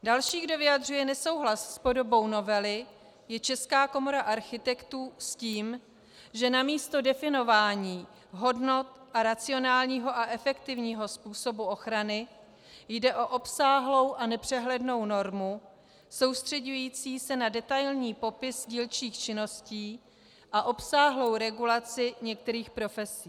Další, kdo vyjadřuje nesouhlas s podobou novely, je Česká komora architektů, s tím, že namísto definování hodnot a racionálního a efektivního způsobu ochrany jde o obsáhlou a nepřehlednou normu soustřeďující se na detailní popis dílčích činnost a obsáhlou regulaci některých profesí.